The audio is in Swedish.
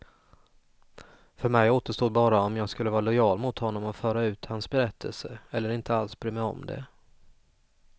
För mig återstod bara om jag skulle vara lojal mot honom och föra ut hans berättelse, eller inte alls bry mig om det.